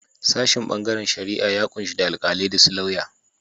Sashin bangaren shari'a ya kunshi da Alkalai da su lauya.